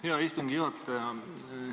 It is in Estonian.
Hea istungi juhataja!